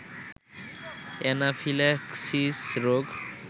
anaphylaxis রোগ